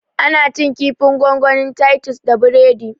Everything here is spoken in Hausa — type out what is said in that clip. Ana cin kifin gongonin titus da biredi